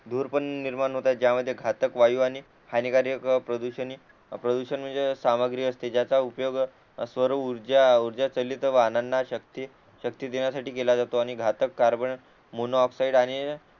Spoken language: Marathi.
धूर पण निर्माण होत आहे ज्या मध्ये घातक वायू आणि हानिकारक प्रदुषणी प्रदूषण म्हणजे सामग्री असते ज्याचा उपयोग स्वर ऊर्जा उर्जा चलित वाहनांना शक्ति शक्ती देण्यासाठी केला जातो आणि घातक कार्बन मोनो ऑक्साईड आणि